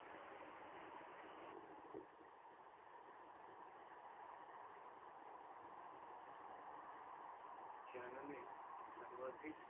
चैन ने सर्वाधिक